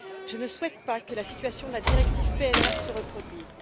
Je ne souhaite pas que la situation de la directive PNR se reproduise.